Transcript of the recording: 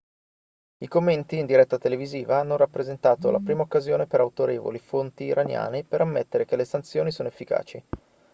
i commenti in diretta televisiva hanno rappresentato la prima occasione per autorevoli fonti iraniane per ammettere che le sanzioni sono efficaci